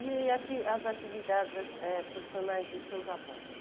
E ati as atividades eh profissionais dos seus avós?